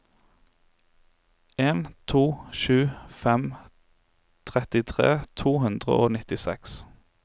en to sju fem trettitre to hundre og nittiseks